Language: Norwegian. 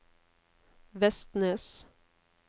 Vestnes